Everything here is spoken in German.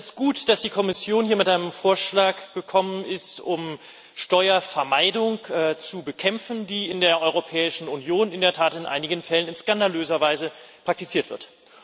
Es ist gut, dass die Kommission hier mit einem Vorschlag gekommen ist, um Steuervermeidung zu bekämpfen, die in der Europäischen Union in der Tat in einigen Fällen in skandalöser Weise praktiziert wird.